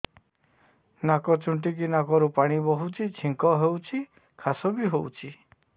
ନାକ ଚୁଣ୍ଟୁଚି ନାକରୁ ପାଣି ବହୁଛି ଛିଙ୍କ ହଉଚି ଖାସ ବି ହଉଚି